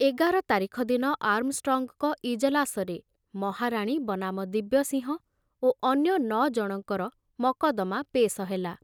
ଏଗାର ତାରିଖ ଦିନ ଆର୍ମଷ୍ଟ୍ରଙ୍ଗଙ୍କ ଇଜଲାସରେ ମହାରାଣୀ ବନାମ ଦିବ୍ୟସିଂହ ଓ ଅନ୍ୟ ନ ଜଣଙ୍କର ମକଦ୍ଦମା ପେଶ ହେଲା।